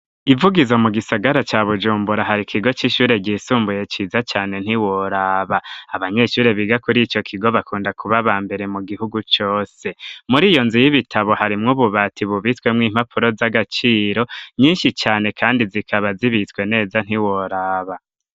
Ivugizo mu gisagara ca bujumbura hari ikigo c'ishure ryisumbuye ciza cane ntiworaba, abanyeshure biga kuri ico kigo bakunda kubaba mbere mu gihugu cose, muri iyo nzu y'ibitabo harimwo ububati bubitwemwo impapuro z'agaciro nyinshi cane kandi zikaba zibitzwe neza ntiworaba.